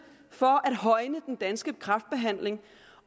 for at højne den danske kræftbehandling